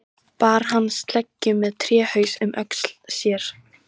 Bar hann sleggju með tréhaus um öxl sér.